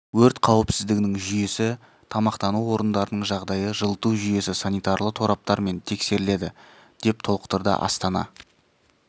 өрт қауіпсіздігінің жүйесі тамақтану орындарының жағдайы жылыту жүйесі санитарлы тораптар мен тексеріледі деп толықтырды астана